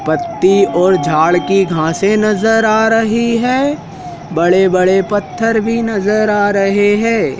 पति और झाड़ की घासे से नजर आ रही है बड़े-बड़े पत्थर भी नजर आ रहे हैं।